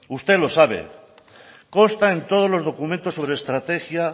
usted lo sabe consta en todos los documentos sobre estrategia